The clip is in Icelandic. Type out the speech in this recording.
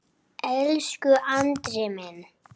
Elsku Andri minn.